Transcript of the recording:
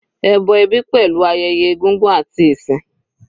Ẹbọ ẹbí pẹ̀lú ayẹyẹ egúngún àti ìsìn.